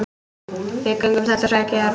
Við göngum þetta sagði Georg.